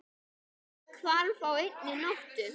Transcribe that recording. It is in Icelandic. Allt hvarf á einni nóttu.